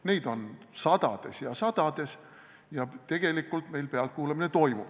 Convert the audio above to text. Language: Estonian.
Neid on sadades ja tegelikult meil pealtkuulamine toimub.